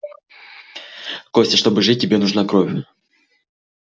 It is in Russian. костя чтобы жить тебе нужна кровь